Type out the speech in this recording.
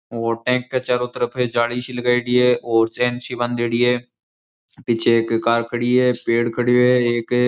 Tank के चारो तरफ जाली सी लगायेडी है और चैन सी बांधेडी है पीछे एक कार खड़ी है पेड़ खड़यो है एक।